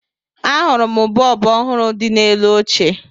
Ahụrụ m bọọbụ ọhụrụ dị n'elu oche